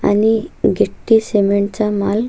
आणि गिट्टी सीमेंट चा माल--